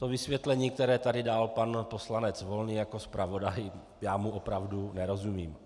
To vysvětlení, které tady dal pan poslanec Volný jako zpravodaj - já mu opravdu nerozumím.